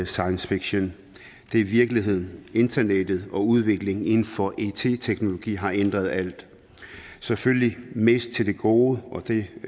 science fiction det er virkelighed internettet og udviklingen inden for it teknologien har ændret alt selvfølgelig mest til det gode og det